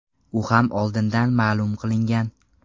U ham oldindan ma’lum qilingan.